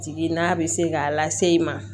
Jigi n'a bɛ se k'a lase i ma